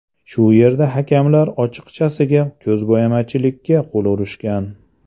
Shu yerda hakamlar ochiqchasiga ko‘zbo‘yamachilikka qo‘l urishgan.